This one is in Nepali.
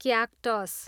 क्याक्टस